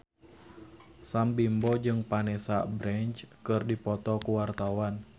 Sam Bimbo jeung Vanessa Branch keur dipoto ku wartawan